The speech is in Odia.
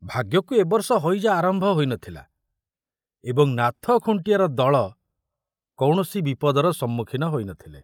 ଭାଗ୍ୟକୁ ଏ ବର୍ଷ ହଇଜା ଆରମ୍ଭ ହୋଇ ନଥିଲା ଏବଂ ନାଥ ଖୁଣ୍ଟିଆର ଦଳ କୌଣସି ବିପଦର ସମ୍ମୁଖୀନ ହୋଇ ନ ଥିଲେ।